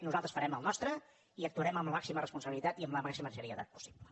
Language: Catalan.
nosaltres farem el nostre i actuarem amb la màxima responsabilitat i amb la màxima seriositat possible